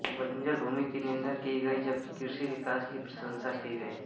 बंजर भूमि की निंदा की गई जबकि कृषि विकास की प्रशंसा की गई